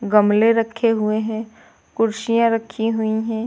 गमले रखे हुए हैं कुर्सियां रखी हुई है।